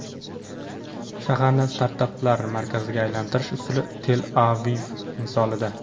Shaharni startaplar markaziga aylantirish usuli Tel-Aviv misolida.